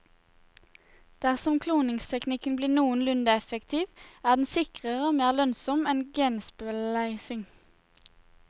Dersom kloningsteknikken blir noenlunne effektiv, er den sikrere og mer lønnsom enn genspleising.